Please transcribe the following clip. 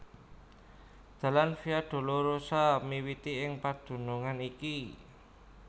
Dalan Via Dolorosa miwiti ing padunungan iki